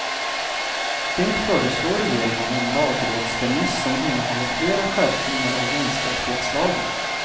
Det föreslår regeringen i en lagrådsremiss som innehåller flera skärpningar av jämställdhetslagen.